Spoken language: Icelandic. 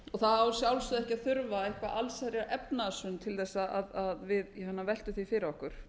og það á að sjálfsögðu ekki að þurfa eitthvað allsherjarefnahagshrun til að við séum að velta því fyrir okkur